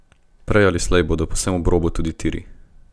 Prej ali slej bodo povsem ob robu tudi tiri.